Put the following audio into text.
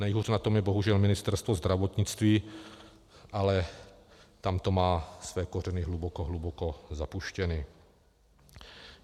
Nejhůř na tom je bohužel Ministerstvo zdravotnictví, ale tam to má své kořeny hluboko, hluboko zapuštěno.